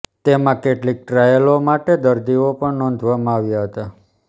તેમાં કેટલીક ટ્રાયલો માટે દરદીઓ પણ નોંધવામાં આવ્યા હતા